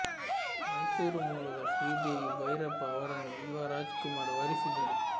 ಮೈಸೂರು ಮೂಲದ ಶ್ರೀದೇವಿ ಭೈರಪ್ಪ ಅವರನ್ನು ಯುವ ರಾಜ್ ಕುಮಾರ್ ವರಿಸಿದರು